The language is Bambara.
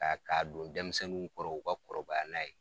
K'a k'a don denmisɛnninw kɔrɔ u ka kɔrɔbaya n'a ye